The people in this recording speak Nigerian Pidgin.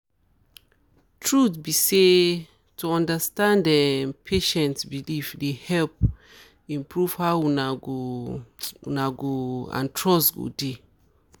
truth be um say to understand um patient beliefs dey help improve how una go una go and trust go dey